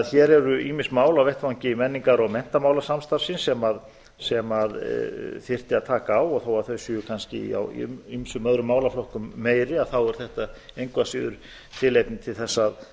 hér eru ýmis mál á vettvangi menningar og menntamálasamstarfsins sem þyrfti að taka á og þó að þau séu kannski í ýmsum öðrum málaflokkum meiri þá er þetta engu að síður tilefni til að